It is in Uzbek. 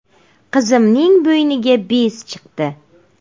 Qizimning bo‘yniga bez chiqdi.